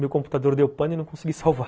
Meu computador deu pano e não consegui salvar